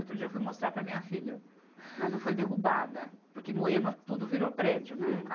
Outro dia eu fui mostrar para minha filha, mas não foi derrubada, porque Moema tudo virou prédio, né?